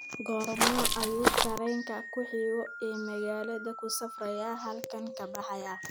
goorma ayuu tareenka ku xiga ee magaalada ku safrayaa halkan ka baxayaa